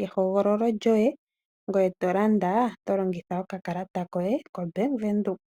yehogololo lyoye, ngoye tolanda tolongitha okakalata koye kombaanga yaWindhoek.